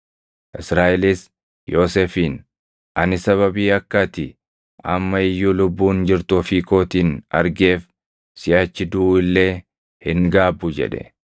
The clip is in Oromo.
Israaʼelis Yoosefiin, “Ani sababii akka ati amma iyyuu lubbuun jirtu ofii kootiin argeef siʼachi duʼu illee hin gaabbu” jedhe.